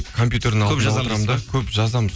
компьютердің алдында отырамын да көп жазамыз